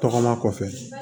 Tɔgɔma kɔfɛ